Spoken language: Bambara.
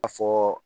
A fɔɔ